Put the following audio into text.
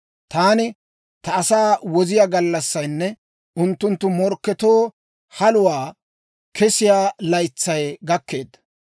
Taani ta asaa woziyaa gallassaynne unttunttu morkketoo haluwaa kessiyaa laytsay gakkeedda.